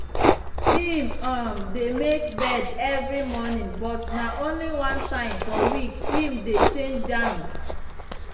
him um dey make bed evri morning but na only one time for week him dey dey change am.